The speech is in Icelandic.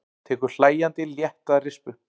Tekur hlæjandi létta rispu.